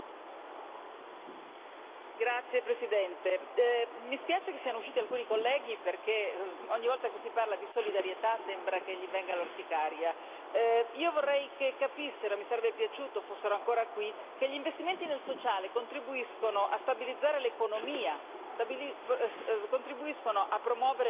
Signor Presidente, onorevoli colleghi, mi spiace che siano usciti alcuni colleghi, perché ogni volta che si parla di solidarietà sembra che gli venga l'orticaria. Io vorrei che capissero e mi sarebbe piaciuto fossero ancora qui che gli investimenti nel sociale contribuiscono a stabilizzare l'economia, contribuiscono a promuovere l'occupazione,